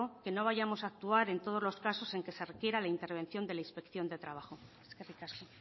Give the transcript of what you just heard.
que no vayamos a actuar en todos los casos en que se refiera la intervención de la inspección de trabajo eskerrik asko